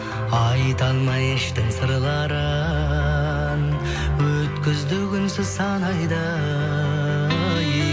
айта алмай іштің сырларын өткізді күнсіз сан айды ай